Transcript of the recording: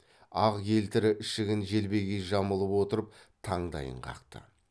ақ елтірі ішігін желбегей жамылып отырып таңдайын қақты